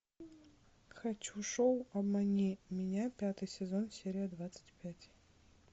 хочу шоу обмани меня пятый сезон серия двадцать пять